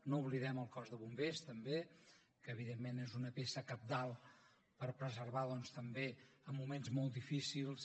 no oblidem el cos de bombers tampoc que evidentment és una peça cabdal per preservar doncs també en moments molt difícils